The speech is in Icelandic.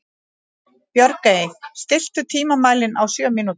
Björgey, stilltu tímamælinn á sjö mínútur.